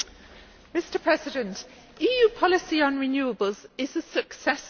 Mr President, EU policy on renewables is a success story.